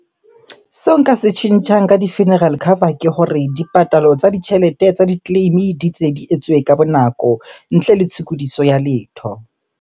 Seo nka se tjhentjhang ka di-funeral cover ke hore di patalo tsa ditjhelete tsa di-claim-e di tse, di etsuwe ka bonako ntle le tshokodiso ya letho.